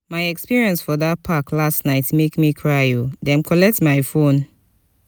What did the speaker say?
my experience for dat park last night make me cry o dem collect my fone.